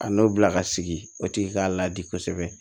A n'o bila ka sigi o tigi k'a ladi kosɛbɛ